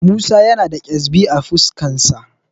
Musa yana da ƙyezbi a fuskarsa.